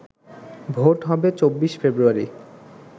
vote হবে ২৪ ফেব্রুয়ারি